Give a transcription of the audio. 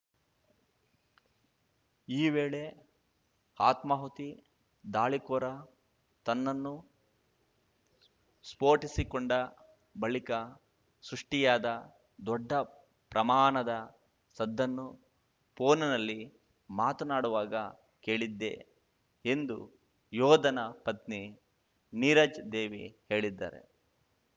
ಈ ವೇಳೆ ಆತ್ಮಾಹುತಿ ದಾಳಿಕೋರ ತನ್ನನ್ನು ಸ್ಫೋಟಿಸಿಕೊಂಡ ಬಳಿಕ ಸೃಷ್ಟಿಯಾದ ದೊಡ್ಡ ಪ್ರಮಾಣದ ಸದ್ದನ್ನು ಫೋನ್‌ನಲ್ಲಿ ಮಾತನಾಡುವಾಗ ಕೇಳಿದ್ದೆ ಎಂದು ಯೋಧನ ಪತ್ನಿ ನೀರಜ್‌ ದೇವಿ ಹೇಳಿದ್ದಾರೆ